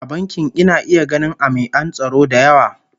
A bankin ina iya ganin ami'an tsaro da yawa